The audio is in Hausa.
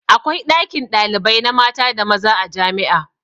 Akwai ɗakin ɗalibai na mata da maza a jami'a.